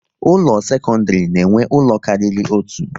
Ụlọ akwụkwọ sekondiri na enwe ụlọ kárírí otu